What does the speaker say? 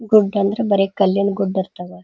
ಗುಡ್ಡ ಅಂದ್ರೆ ಬರೇಕಲ್ಲಿನ ಗುಡ್ಡ ಇರ್ತಾವ.